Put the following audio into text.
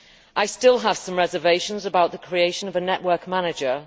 I still have some reservations about the creation of a network manager.